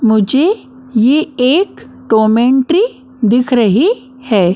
मुझे ये एक टोमेंट्री दिख रही है।